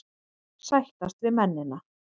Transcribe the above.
Sættast við mennina.